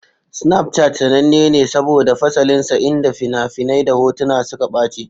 Snapchat sananne ne saboda fasalinsa inda fina-finai da hotuna suka ɓace.